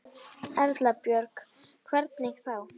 Erla Björg: Hvernig þá?